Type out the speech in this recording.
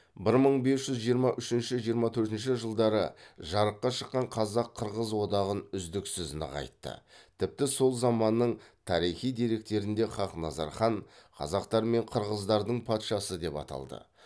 бір мың бес жүз жиырма үшінші жиырма төртінші жылдары жарыққа шыққан қазақ қырғыз одағын үздіксіз нығайтты тіпті сол заманның тарихи деректерінде хақназар хан қазақтар мен қырғыздардың патшасы деп аталды